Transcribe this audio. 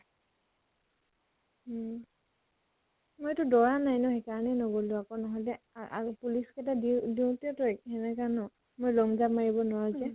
উম। মইটো দৈৰা নাই ন সেইকাৰণে নগলো আকৌ, নহলে আ আৰু police কেটা দিও দিওতে ত ন। মই long jump মাৰিব নোৱাৰো যে।